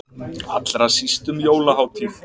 Allra síst um jólahátíð.